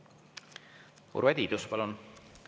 Urve Tiidus, palun!